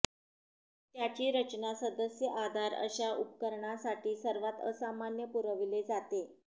त्याची रचना सदस्य आधार अशा उपकरणांसाठी सर्वात असामान्य पुरविले जाते